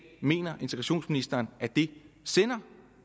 mener integrationsministeren at det sender